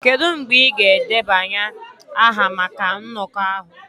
Kedu mgbe ị ga-edebanye aha maka nnọkọ ahụ?